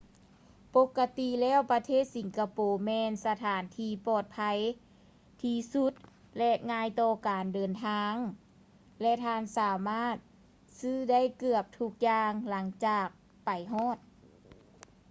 ປົກກະຕິແລ້ວປະເທດສິງກະໂປແມ່ນສະຖານທີ່ປອດໄພທີ່ສຸດ ແລະ ງ່າຍຕໍ່ການເດີນທາງ ແລະ ທ່ານສາມາດຊື້ໄດ້ເກືອບທຸກຢ່າງຫຼັງຈາກໄປຮອດ